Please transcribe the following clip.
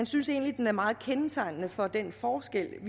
synes egentlig den er meget kendetegnende for den forskel